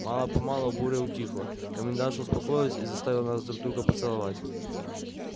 мало-помалу буря утихла комендантша успокоилась и заставила нас друг друга поцеловать